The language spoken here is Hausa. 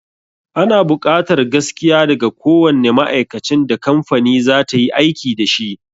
Ana buƙatar gaskiya daga kowanne ma'aikacin da kamfani za ta yi aiki dashi